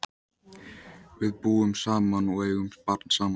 Við búum saman og eigum barn saman.